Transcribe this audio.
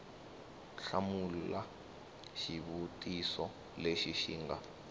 hlamula xivutiso lexi xi nga